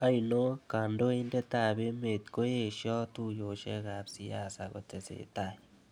oino, kandoindetab emet koieshoo tuiyeshekab siasa kotesetai